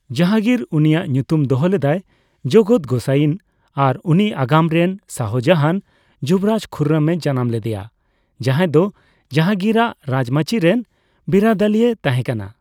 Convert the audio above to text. ᱡᱟᱦᱟᱝᱜᱤᱨ ᱩᱱᱤᱭᱟᱜ ᱧᱩᱛᱩᱢ ᱫᱚᱦᱚ ᱞᱮᱫᱟᱭ ᱡᱚᱜᱚᱛ ᱜᱳᱥᱟᱭᱤᱱ ᱟᱨ ᱩᱱᱤ ᱟᱜᱟᱢ ᱨᱮᱱ ᱥᱟᱦᱚᱡᱟᱦᱟᱱ, ᱡᱩᱵᱚᱨᱟᱡᱽ ᱠᱷᱩᱨᱨᱚᱢᱮ ᱡᱟᱱᱟᱢ ᱞᱮᱫᱮᱭᱟ, ᱡᱟᱦᱟᱭ ᱫᱚ ᱡᱟᱦᱟᱝᱜᱤᱨᱟᱜ ᱨᱟᱡᱽᱢᱟᱹᱪᱤ ᱨᱮᱱ ᱵᱤᱨᱟᱹᱫᱟᱹᱞᱤᱭ ᱛᱟᱦᱮᱸᱠᱟᱱᱟ ᱾